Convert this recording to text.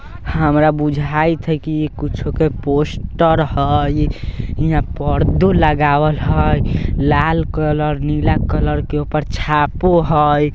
हमारा बुझाइत हेय की इ कुछो के पोस्टर हेय हीया पर्दों लगावल हेय लाल कलर नीला कलर के ऊपर छापो हेय